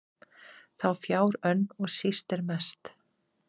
þá fjár önn og síst er mest